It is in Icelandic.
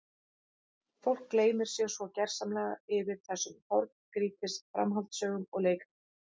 Fólk gleymir sér svo gersamlega yfir þessum horngrýtis framhaldssögum og leikritum.